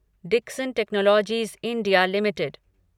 Dixon Technologies India limited